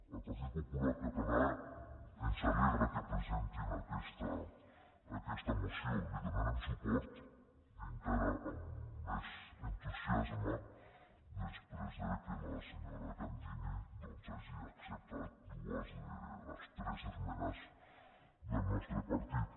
al partit popular català ens alegra que presentin aquesta moció hi donarem suport i encara amb més entusiasme després que la senyora candini doncs hagi acceptat dues de les tres esmenes del nostre partit